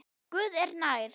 Guð er nær.